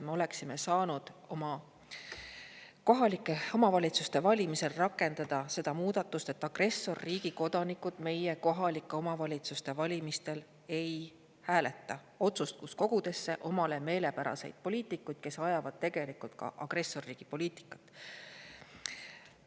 Me oleksime saanud oma kohalike omavalitsuste valimisel rakendada seda muudatust, et agressorriigi kodanikud meie kohalike omavalitsuste valimistel ei hääleta otsustuskogudesse omale meelepäraseid poliitikuid, kes ajavad tegelikult ka agressorriigi poliitikat.